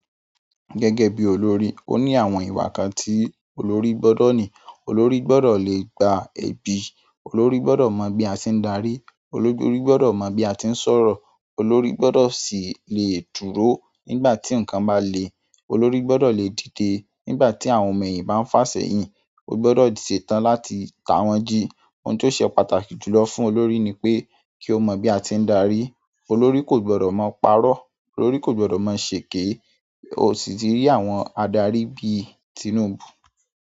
Gẹ́gẹ́ bí olórí, ó ní àwọn ìwà kan tí olórí gbọ́dọ̀ ní. Olórí gbọ́dọ̀ le gba èbí, olórí gbọ́dọ̀ mọ bí a ṣe ń darí, olórí gbọ́dọ̀ mọ bí a tí ń sọ̀rọ̀, olórí gbọ́dọ̀ sì le dúró nígbà tí nǹkan bá le, olórí gbọ́dọ̀ le dìde nígbà tí àwọn ọ̀mọ̀ eyìn bá ń fà sẹ́yìn, ó gbọ́dọ̀ ṣetán láti ta wọ́n jí. Ohun tó ṣe pàtàkì jùlọ fún olórí ni pé kí ó mọ bí a tí ń darí. Olórí ko gbodo maa paro, olórí ko gbodo maa seeke. Ó sì ti rí àwọn adarí bí Tinubu.